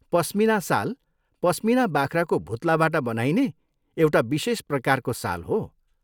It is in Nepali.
पस्मिना साल पस्मिना बाख्राको भुत्लाबाट बनाइने एउटा विशेष प्रकारको साल हो।